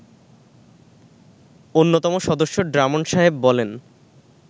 অন্যতম সদস্য ড্রামণ্ড সাহেব বলেন